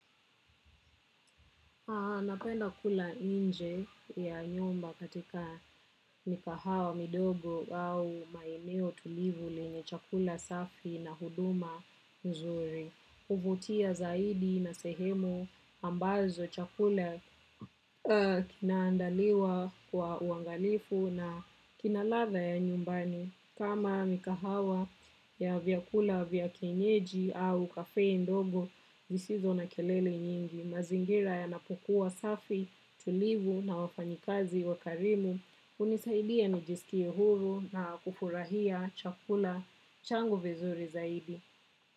Napenda kula nje ya nyumba katika mikahawa midogo au maeneo tulivu lenye chakula safi na huduma nzuri huvutia zaidi na sehemu ambazo chakula kinaandaliwa kwa uangalifu na kinaladha ya nyumbani. Kama mikahawa ya vyakula vya kienyeji au cafe ndogo zisizo na kelele nyingi. Mazingira yanapokuwa safi, tulivu na wafanyikazi wakarimu hunisaidia nijisikie huru na kufurahia chakula changu vizuri zaidi.